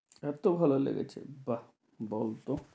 এত ভালো লেগেছে বাহ্